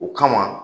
O kama